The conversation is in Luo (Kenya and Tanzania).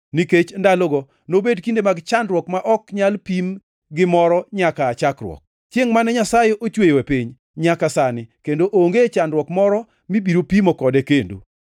nikech ndalogo nobed kinde mag chandruok ma ok nyal pim gi moro nyaka aa chakruok, chiengʼ mane Nyasaye ochweyoe piny, nyaka sani; kendo onge chandruok moro mibiro pimo kode kendo.